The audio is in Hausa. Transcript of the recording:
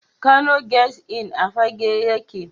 Kano Guest Inn a Fagge yake.